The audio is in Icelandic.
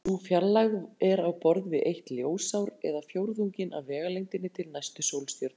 Sú fjarlægð er á borð við eitt ljósár eða fjórðunginn af vegalengdinni til næstu sólstjörnu.